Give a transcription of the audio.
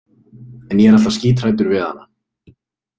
En ég er alltaf skíthræddur við hana.